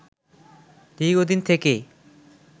দীর্ঘদিন থেকে